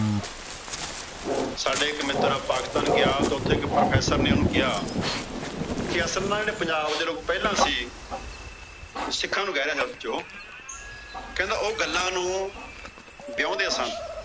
ਸਾਡਾ ਇੱਕ ਮਿੱਤਰ Pakistan ਗਿਆ। ਤਾਂ ਉੱਥੇ ਇੱਕ Profesor ਨੇ ਓਹਨੂੰ ਕਿਆ ਕਿ ਅਸਲ ਨਾ ਜਿਹੜੇ ਪੰਜਾਬ ਦੇ ਲੋਗ ਪਹਿਲਾ ਸੀ। ਉਹ ਸਿੱਖਾਂ ਨੂੰ ਕਹਿ ਰਹੇ ਨੇ ਉਸ ਚੋ। ਕਹਿੰਦਾ ਉਹ ਗੱਲਾਂ ਨੂੰ ਵਿਹਾਉਂਦੇ ਸਨ।